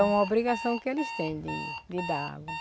É uma obrigação que eles têm de de dar a água.